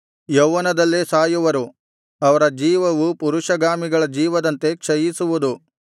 ಯೌವನದಲ್ಲೇ ಸಾಯುವರು ಅವರ ಜೀವವು ಪುರಷಗಾಮಿಗಳ ಜೀವದಂತೆ ಕ್ಷಯಿಸುವುದು